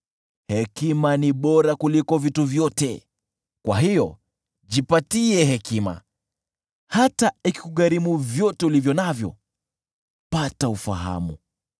Hekima ni bora kuliko vitu vyote; kwa hiyo jipe hekima. Hata ikikugharimu vyote ulivyo navyo, pata ufahamu.